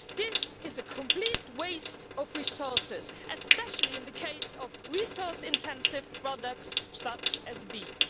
This is a complete waste of resources, especially in the case of resource intensive products such as beef.